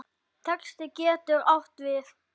Texti getur átt við